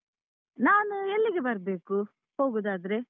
ನಾನು ಎಲ್ಲಿಗೆ ಬರ್ಬೇಕು, ಹೋಗುದಾದ್ರೆ?